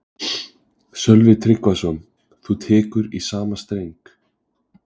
Sölvi Tryggvason: Þú tekur í sama streng?